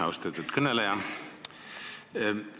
Austatud kõneleja!